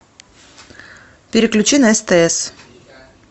переключи на стс